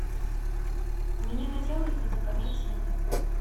мне хотелось бы заказать цветы